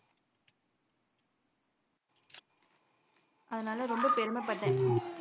அதனால ரொம்ப பெருமபட்டேன்